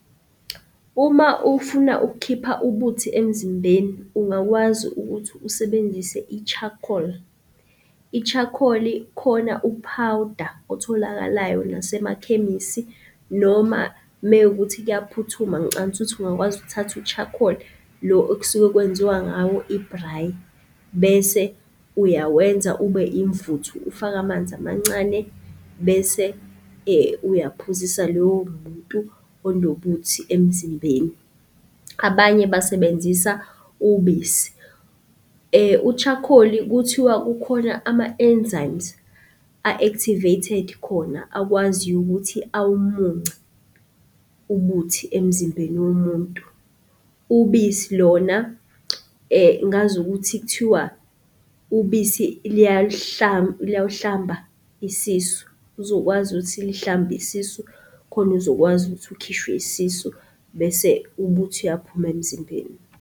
Uma ufuna ukukhipha ubuthi emzimbeni, ungakwazi ukuthi usebenzise i-charcoal. I-charcoal-i, khona uphawuda otholakalayo nasemakhemisi noma mewukuthi kuyaphuthuma, ngicabanga ukuthi ungakwazi ukuthatha u-charcoal, lo okusuke kwenziwa ngawo ibhrayi. Bese uyawenza ube imvuthu, ufake amanzi amancane bese uyaphuzisa loyo muntu onobuthi emzimbeni. Abanye basebenzisa ubisi. U-charcoal-i kuthiwa kukhona ama-enzymes a-activated khona akwaziyo ukuthi awumunce ubuthi emzimbeni womuntu. Ubisi lona, ngazi ukuthi kuthiwa ubisi liyawuhlamba isisu, uzokwazi ukuthi lihlambe isisu khona uzokwazi ukuthi ukhishwe isisu bese ubuthi uyaphuma emzimbeni.